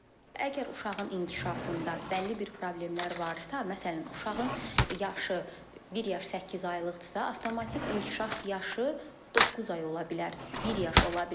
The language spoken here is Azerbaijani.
Əgər uşağın inkişafında bəlli bir problemlər varsa, məsələn, uşağın yaşı bir yaş səkkiz aylıqdırsa, avtomatik inkişaf yaşı doqquz ay ola bilər, bir yaş ola bilər.